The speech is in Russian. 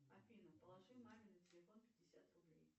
афина положи маме на телефон пятьдесят рублей